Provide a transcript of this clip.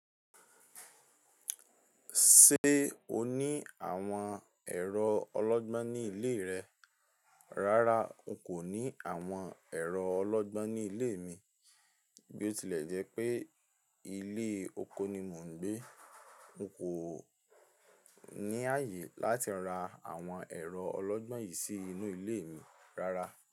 Ṣé o ní àwọn ẹ̀rọ ọlọ́gbọ́n ní ilé rẹ? Rárá, n kò ní àwọn ẹ̀rọ ọlọ́gbọ́n ní ilé mi. Bí ó tilẹ̀ jẹ́ pé ilé oko ni mò ń gbé, n kò ní ààyè láti ra àwọn ẹ̀rọ ọlọ́gbọ́n yìí sí inú ilé mi rárá.